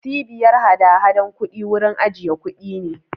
Cbiyar hadahadan kuɗi wurin ajiye kuɗi ne.